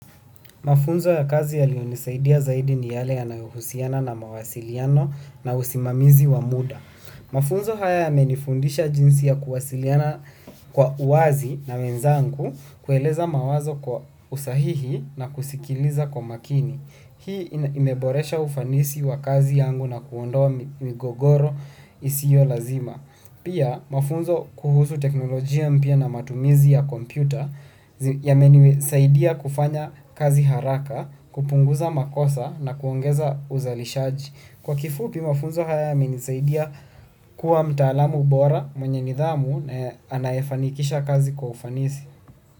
Mafunzo ya kazi yalionisaidia zaidi ni yale yanayohusiana na mawasiliano na usimamizi wa muda. Mafunzo haya yamenifundisha jinsi ya kuwasiliana kwa uwazi na wenzangu, kueleza mawazo kwa usahihi na kusikiliza kwa makini. Hii imeboresha ufanisi wa kazi yangu na kuondoa migogoro isiyo lazima. Pia mafunzo kuhusu teknolojia mpya na matumizi ya kompyuta yamenisaidia kufanya kazi haraka, kupunguza makosa na kuongeza uzalishaji. Kwa kifupi mafunzo haya yamenisaidia kuwa mtaalamu bora mwenye nidhamu na anayefanikisha kazi kwa ufanisi.